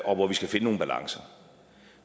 og hvor vi skal finde nogle balancer